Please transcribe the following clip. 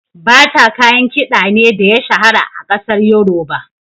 Bata kayan kiɗa ne da ya shahara a kasar yoruba.